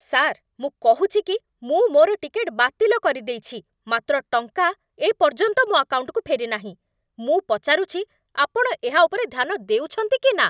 Sir! ମୁଁ କହୁଛି କି ମୁଁ ମୋର ଟିକେଟ୍ ବାତିଲ କରିଦେଇଛି, ମାତ୍ର ଟଙ୍କା ଏ ପର୍ଯ୍ୟନ୍ତ ମୋ ଆକାଉଣ୍ଟକୁ ଫେରିନାହିଁ। ମୁଁ ପଚାରୁଛି, ଆପଣ ଏହା ଉପରେ ଧ୍ୟାନ ଦେଉଛନ୍ତି କି ନା?